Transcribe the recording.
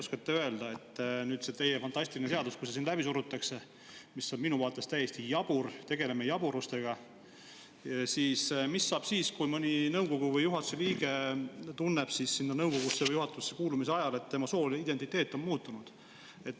Äkki oskate öelda, et kui see teie fantastiline seadus läbi surutakse, mis on minu arvates täiesti jabur, me tegeleme jaburusega, siis mis saab siis, kui mõni nõukogu või juhatuse liige nõukogusse või juhatusse kuulumise ajal tunneb, et tema sooline identiteet on muutunud?